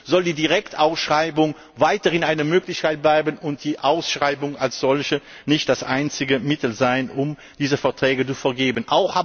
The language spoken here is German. Also soll die Direktausschreibung weiterhin eine Möglichkeit bleiben, und die Ausschreibung als solche soll nicht das einzige Mittel sein, um diese Verträge zu vergeben.